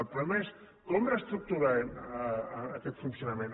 el problema és com reestructurarem aquest funcionament